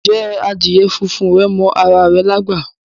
Ǹjẹ́ adíè fúnfún rè mọ ara rè lágbá?